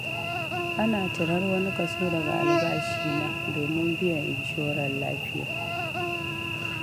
Ana cirar wani kaso daga albashina, domin biyan inshorar lafiya.